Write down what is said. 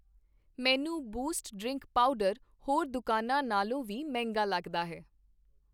ਮੈਨੂੰ Boost drink powder ਹੋਰ ਦੁਕਾਨਾਂ ਨਾਲੋਂ ਵੀ ਮਹਿੰਗਾ ਲੱਗਦਾ ਹੈ